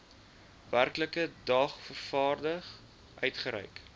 werklike dagvaarding uitgereik